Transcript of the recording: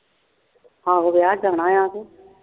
ਆਹੋ ਵਿਆਹ ਜਾਣਾ ਆ